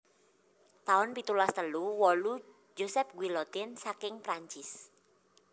taun pitulas telu wolu Joseph Guillotin saking Prancis